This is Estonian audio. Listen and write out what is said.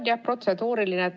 On jah protseduuriline.